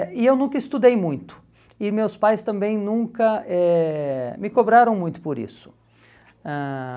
eh e eu nunca estudei muito, e meus pais também nunca eh me cobraram muito por isso. Ãh